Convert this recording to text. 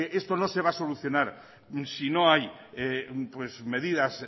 esto no se va a solucionar si no hay medidas